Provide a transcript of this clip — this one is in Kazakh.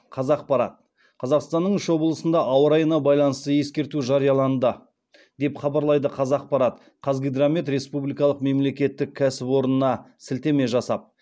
қазақпарат қазақстанның үш облысында ауа райына байланысты ескерту жарияланды деп хабарлайды қазақпарат қазгидромет республикадық мемлекеттік кәсіпорнына сілтеме жасап